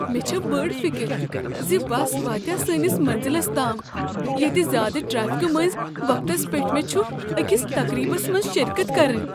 مےٚ چھےٚ بٔڑ فکر ز بس واتیا سٲنس مٔنزِلس تام ییتہِ زیادٕ ٹریفِكہٕ مٔنٛزۍ وقتس پٮ۪ٹھ مےٚ چھ أکس تقریٖبس منٛز شرکت کرٕنۍ۔